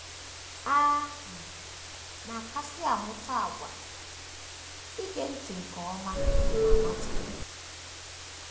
A um na - akasị amụta àgwà um ige ntị nke ọma na nwata um.